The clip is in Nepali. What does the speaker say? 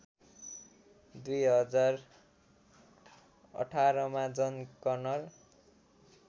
२०१८ मा जन कनर